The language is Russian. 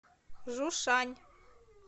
жушань